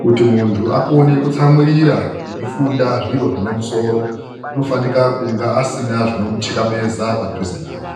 Kuti mundu akone kutsamwirira eifunda zviro zvine musoro anofanika kunga asina zvinomuthikabeza padhuze naye.